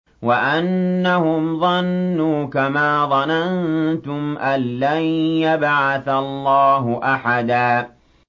وَأَنَّهُمْ ظَنُّوا كَمَا ظَنَنتُمْ أَن لَّن يَبْعَثَ اللَّهُ أَحَدًا